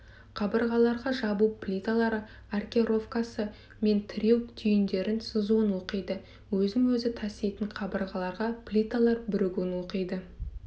қабырғаларға жабу плиталары аркеровкасы мен тіреу түйіндерін сызуын оқиды өзін-өзі таситын қабырғаларға плиталар бірігуін оқиды